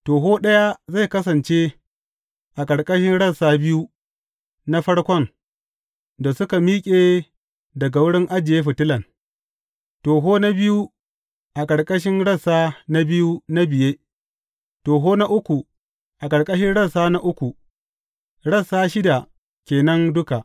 Toho ɗaya zai kasance a ƙarƙashin rassa biyu na farkon da suka miƙe daga wurin ajiye fitilan, toho na biyu a ƙarƙashin rassa biyu na biye, toho na uku a ƙarƙashin rassa na uku, rassa shida ke nan duka.